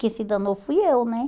Quem se danou fui eu, né?